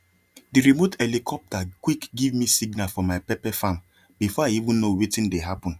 the remote helicopter quick give me signal for my pepper farm before i even no wetin dey happen